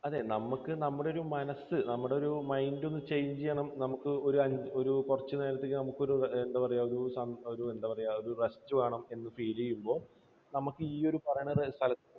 അതെ നമുക്ക് നമ്മുടെ ഒരു മനസ്സ്, നമ്മുടെ ഒരു mind നമുക്കൊരു ഒരു കുറച്ചുനേരത്തേക്ക് നമുക്കൊരു, എന്താ പറയുക, ഒരു റസ്റ്റ് വേണമെന്ന് feel ചെയ്യുമ്പോൾ നമുക്ക് ഈ ഒരു പറയുന്ന സ്ഥലത്ത്